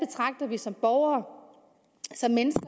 vi som borgere som mennesker